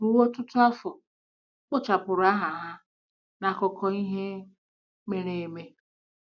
Ruo ọtụtụ afọ, e kpochapụrụ aha ha n'akụkọ ihe mere eme.